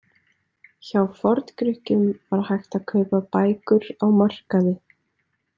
Hjá Forngrikkjum var hægt að kaupa bækur á markaði.